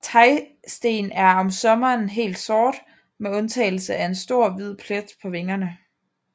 Tejsten er om sommeren helt sort med undtagelse af en stor hvid plet på vingerne